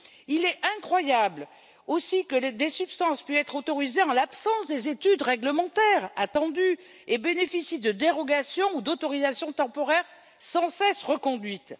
Il est incroyable aussi que des substances puissent être autorisées en l'absence des études réglementaires attendues et bénéficient de dérogations ou d'autorisations temporaires sans cesse reconduites.